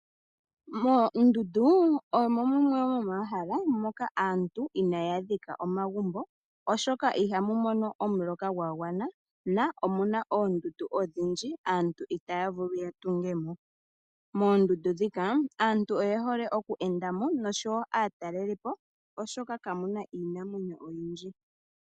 Moondundu omo mu mwe mo mo ma hala moka aantu inaaya dhika omagumbo, oshoka ihamu mono omuloka gwa gwana nomu na oondundu odhindji aantu itaya vulu ya tunge mo. Moondundu ndhika aantu oye hole oku enda mo nosho wo aatalelipo, oshoka kamu na iinamwenyo oyindji.